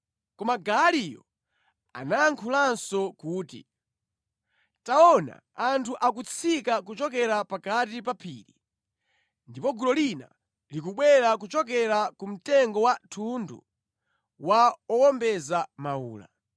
Koma Gaaliyo anayankhulanso kuti, “Taona anthu akutsika kuchokera pakati pa phiri, ndipo gulu lina likubwera kuchokera ku mtengo wa thundu wa owombeza mawula.”